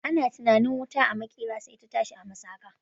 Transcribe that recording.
Ana zaton wuta a maƙera, sai ta tashi a masaƙa.